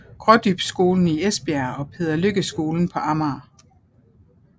Grådybskolen i Esbjerg og Peder Lykke Skolen på Amager